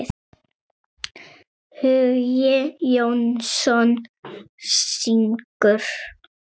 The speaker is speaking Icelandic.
Hugi Jónsson syngur.